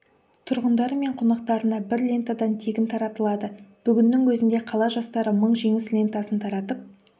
тұрғындары мен қонақтарына бір лентадан тегін таратылады бүгіннің өзінде қала жастары мың жеңіс лентасын таратып